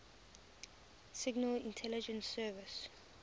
signal intelligence service